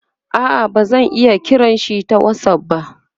a'a bazan iya kiranshi ta whatsapp ba